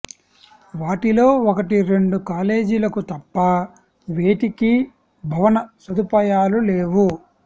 వాటిలో ఒకటి రెండు కాలేజీలకు తప్ప వేటికి భవన సదుపాయాలు లేవు